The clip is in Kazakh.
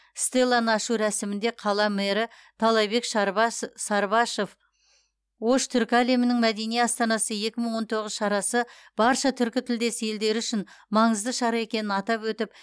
стелланы ашу рәсімінде қала мэрі таалайбек сарыбашов ош түркі әлемінің мәдени астанасы екі мың он тоғыз шарасы барша түркітілдес елдері үшін маңызды шара екенін атап өтіп